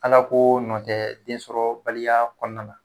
Alako nɔ tɛ densɔrɔbaliya kɔnɔna na